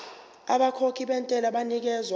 abakhokhi bentela banikezwa